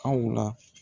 Aw la